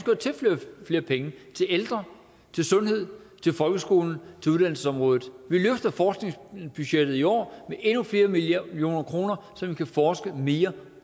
at tilføre flere penge til ældre til sundhed til folkeskolen til uddannelsesområdet vi løfter forskningsbudgettet i år med endnu flere millioner kroner så man kan forske mere